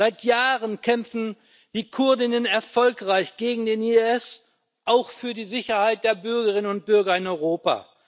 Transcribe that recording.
Seit Jahren kämpfen die Kurdinnen und Kurden erfolgreich gegen den IS, auch für die Sicherheit der Bürgerinnen und Bürger in Europa.